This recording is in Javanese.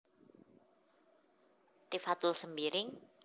Tifatul Sembiring